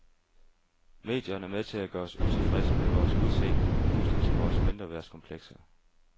Medierne er med til at gøre os utilfredse med vores udseende og puste til vores mindreværdskomplekser.